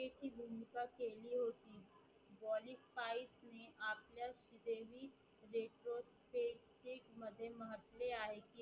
की मध्ये म्हटले आहे